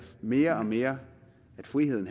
mere og mere at friheden